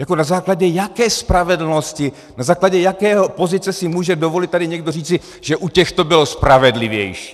Jako na základě jaké spravedlnosti, na základě jaké pozice si může dovolit tady někdo říci, že u těchto to bylo spravedlivější?